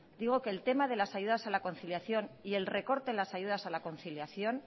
digo que el tema de las ayudas a la conciliación y el recorte en las ayudas a la conciliación